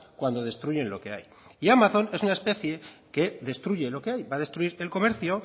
cuando destruyen lo que hay y amazon es una especie que destruye lo que hay va a destruir el comercio